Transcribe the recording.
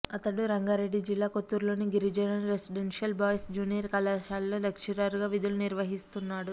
అతడు రంగారెడ్డి జిల్లా కొత్తూరులోని గిరిజన రెసిడెన్షియల్ బాయ్స్ జూనియర్ కాలేజీలో లెక్చరర్గా విధులు నిర్వహిస్తున్నాడు